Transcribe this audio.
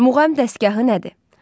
Muğam dəstgahı nədir?